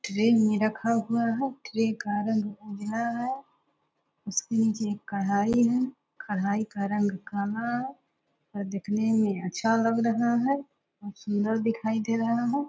tray मे रखा हुआ है ट्रे का रंग उजला है उसके नीचे एक कढ़ाई है कढ़ाई का रंग काला है और दिखने मे अच्छा लग रहा है सुंदर दिखाई दे रहा है --